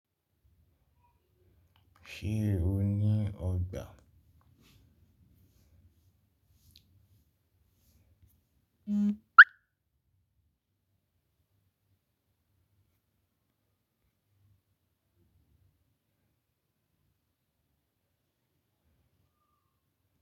Ṣé o ní ọgbà?